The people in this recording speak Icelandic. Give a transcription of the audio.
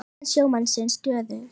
Líðan sjómannsins stöðug